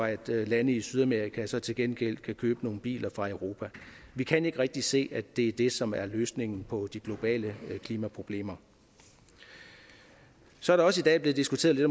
lande i sydamerika så til gengæld kan købe nogle biler fra europa vi kan ikke rigtig se at det er det som er løsningen på de globale klimaproblemer så er der også i dag blevet diskuteret lidt